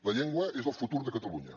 la llengua és el futur de catalunya